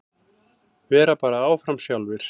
Vera bara áfram sjálfir.